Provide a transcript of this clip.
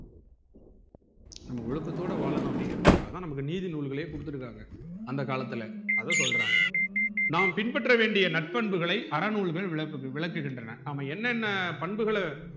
நம்ம ஒழுக்கத்தோடு வாழனும் அப்புடிங்குறதுக்காக தான் நம்மக்கு நீதி நூல்கலே குடுத்துருக்காங்க அந்த காலத்துல அத சொல்றாங்க நாம் பின் பற்ற வேண்டிய நற்பண்புகளை அறநூல்கள் விளக் விளக்குகின்றன நம்ம என்னென்ன பண்புகள